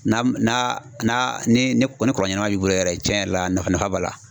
Na ni kɔlɔn ɲɛnama b'i bolo yɛrɛ, tiɲɛ yɛrɛ la nafa b'a la.